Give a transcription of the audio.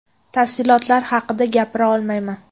Tafsilotlar haqida gapira olmayman.